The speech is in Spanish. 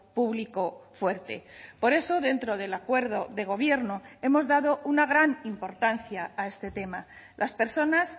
público fuerte por eso dentro del acuerdo de gobierno hemos dado una gran importancia a este tema las personas